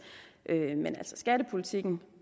men skattepolitikken